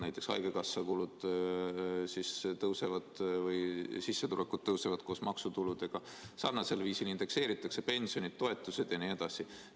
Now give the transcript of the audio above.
Näiteks haigekassa sissetulekud tõusevad koos maksutuludega, sarnasel viisil indekseeritakse pensionid, toetused jne.